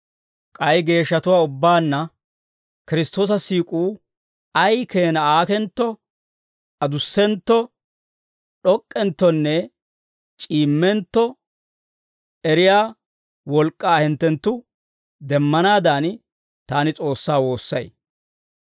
K'ay geeshshatuwaa ubbaanna Kiristtoosa siik'uu ay keenaa aakentto, adussentto, d'ok'k'enttonne c'iimmentto eriyaa wolk'k'aa hinttenttu demmanaadan, taani S'oossaa woossay.